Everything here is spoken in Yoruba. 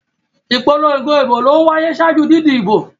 Ìpolongo ìbò ló ń wáyé ṣáájú didi ìbo.